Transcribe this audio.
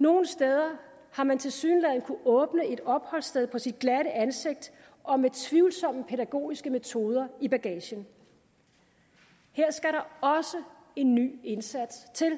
nogle steder har man tilsyneladende kunnet åbne et opholdssted på sit glatte ansigt og med tvivlsomme pædagogiske metoder i bagagen her skal der også en ny indsats til